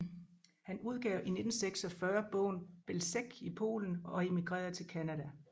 Han udgav i 1946 bogen Belzec i Polen og emigrerede til Canada